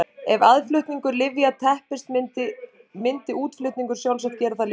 Ef aðflutningur lyfja teppist myndi útflutningur sjálfsagt gera það líka.